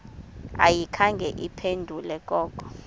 ayikhange iphendule koko